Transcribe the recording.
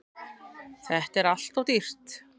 Þetta er alltof dýrt.